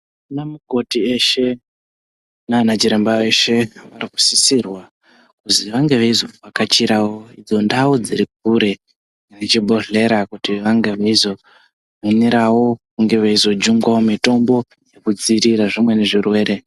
Anamukoti eshe nanachiremba eshe anosisirwa kuti ange eizovhakachirawo idzo ndau dzirikure nechibhodhleya kuti vanga veizi hanirawo kunge veizojungwawo mitombo nekudzivirira zvimweni zvirwere.